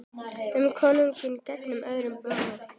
Um konunga gegnir öðru máli.